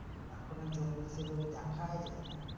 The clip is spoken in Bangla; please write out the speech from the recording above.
এখন আর জঙ্গল সেই ভাবে দেখাই যায় না।